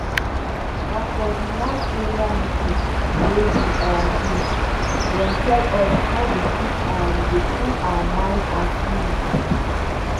na for d last area meeting wey we um do dem tell us how we fit um dey cool our mind and spirit.